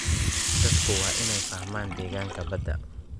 Dadku waa inay fahmaan deegaanka badda.